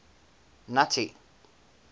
nuttie